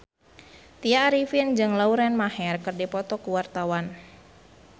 Tya Arifin jeung Lauren Maher keur dipoto ku wartawan